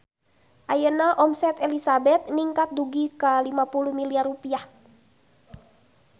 Ayeuna omset Elizabeth ningkat dugi ka 50 miliar rupiah